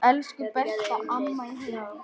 Elsku, besta amma mín.